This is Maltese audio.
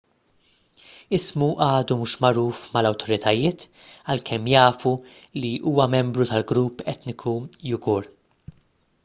ismu għadu mhux magħruf mal-awtoritajiet għalkemm jafu li huwa membru tal-grupp etniku uighur